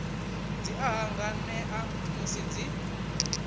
dzi a hanganea musi dzi